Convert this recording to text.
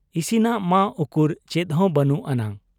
ᱤᱥᱤᱱᱟᱜ ᱢᱟ ᱩᱠᱩᱨ ᱪᱮᱫ ᱦᱚᱸ ᱵᱟᱹᱱᱩᱜ ᱟᱱᱟᱝ ᱾